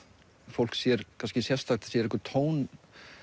fólk sér sérstakt það sér einhvern tón